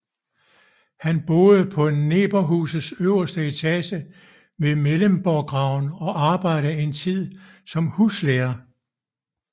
Han boede på Neberhusets overste etage ved Mellemborggraven og arbejdede en tid som huslærer